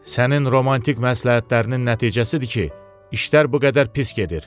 Sənin romantik məsləhətlərinin nəticəsidir ki, işlər bu qədər pis gedir.